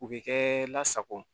U bɛ kɛ lasago